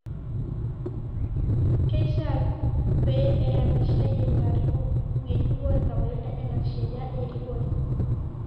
Keishiaa peee eyapishai ilarikok ng'ejuko kawaida enaa sheria erikore